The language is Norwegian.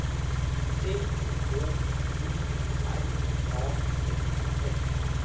T H O R A L F